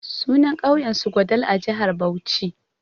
Sunan ƙauyen su Gwadal a jihar Bauchi.